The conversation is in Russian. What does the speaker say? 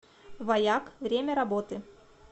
ваяк время работы